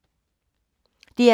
DR K